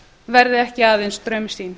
verði ekki aðeins draumsýn